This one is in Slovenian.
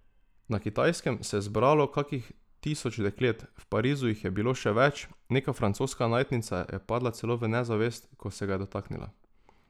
Na Kitajskem se je zbralo kakih tisoč deklet, v Parizu jih je bilo še več, neka francoska najstnica je padla celo v nezavest, ko se ga je dotaknila.